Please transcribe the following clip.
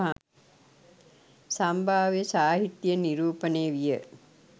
සම්භාව්‍ය සාහිත්‍යයෙන් නිරූපණය විය.